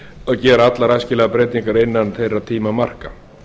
að gera allar æskilegar breytingar innan þeirra tímamarka